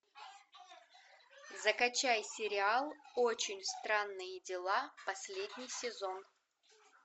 закачай сериал очень странные дела последний сезон